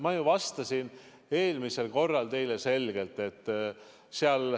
Ma ju vastasin eelmisel korral teile selgelt.